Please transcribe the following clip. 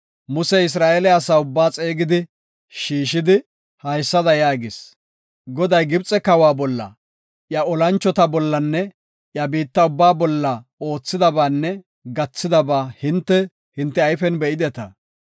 Musey Isra7eele asaa ubbaa xeegi shiishidi, haysada yaagis. Goday Gibxe kawa bolla, iya olanchota bollanne iya biitta ubbaa bolla oothidabaanne gathidaba hinte, hinte ayfen be7ideta.